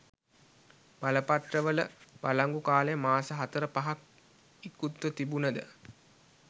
බලපත්‍රවල වලංගු කාලය මාස හතර පහක් ඉකුත්ව තිබුණද